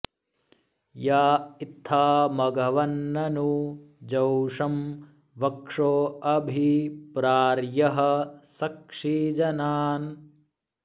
या इत्था मघवन्ननु जोषं वक्षो अभि प्रार्यः सक्षि जनान्